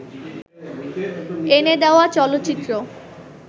এনে দেওয়া চলচ্চিত্র